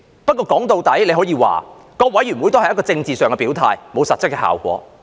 歸根究底，大家可以說各委員會也只是一個政治上的表態，並無實質效果。